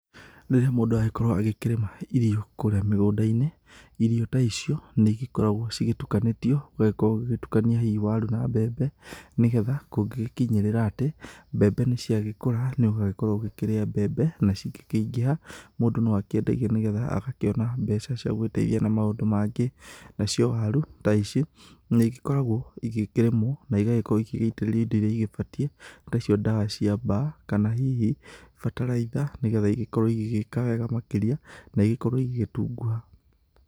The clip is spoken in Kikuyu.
Rĩrĩa mũndũ agĩkorwo agĩkĩrĩma irio kũrĩa mĩgũnda-inĩ, irio ta icio nĩgĩkoragwo cigĩtukanĩtio, ũgagĩkorwo ũgĩtukania hihi waru na mbembe, nĩgetha kũngĩgĩkinyĩrĩra atĩ mbembe nĩciagĩkũra nĩũgagĩkorwo ũgĩkĩrĩa mbembe, na cingĩkĩingĩha mũndũ noakĩendagie nĩgetha agakĩona mbeca cia gwĩteithia na maũndũ mangĩ , nacio waru ta ici nĩigĩkoragwo igĩkĩrĩmwo, na igakorwo igĩgitĩrĩrio indo iria ibatiĩ, ta icio indo cia mba kana hihi bataraitha nĩgetha ikorwo igĩgĩka wega makĩria na igĩkorwo igĩtunguha.